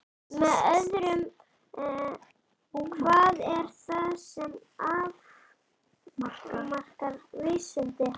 Með öðrum orðum: hvað er það sem afmarkar vísindi?